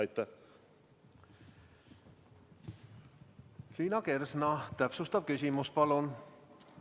Liina Kersna, täpsustav küsimus palun!